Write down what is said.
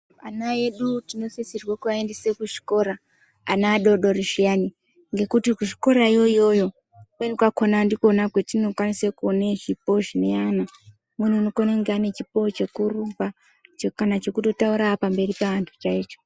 Ana edu tinosisirwa kuaendese kuzvikora ana adoodori zviyani ngekuti kuzvikorakwo iyoyo ndikwo kwetinokwanisa kuona zvipo zvine ana, umweni unokone kunga ane chipo chekurumba kana chekutotaura pamberi peantu chaicho.